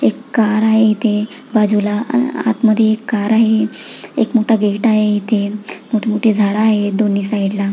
एक कार आहे इथे बाजूला आत मध्ये कार आहे एक मोठा गेट आहे इथे मोठी मोठी झाड आहेत दोन्ही साइड ला--